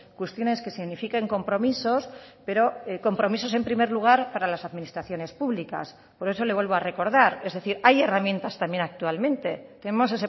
cuestiones que signifiquen compromisos pero compromisos en primer lugar para las administraciones públicas por eso le vuelvo a recordar es decir hay herramientas también actualmente tenemos